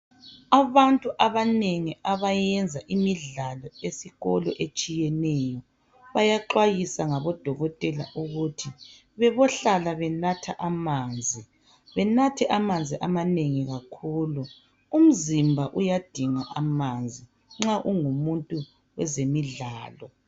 Abantu abanengi abenza imidlalo etshiyeneyo esikolo bayaxwayiswa ngodokotela ukubana bebohlala benatha amanzi benathe amanzi amanengi kakhulu umzimba uyadinga amanzi nxa ungumuntu wezemidlalo